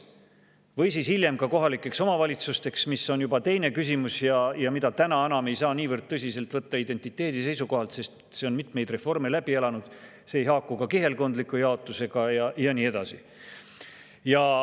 Või siis hiljem ka kohalikeks omavalitsusteks, mis on juba teine küsimus ja mida täna enam ei saa niivõrd tõsiselt võtta identiteedi seisukohalt, sest see on mitmeid reforme läbi elanud, see ei haaku ka kihelkondliku jaotusega ja nii edasi.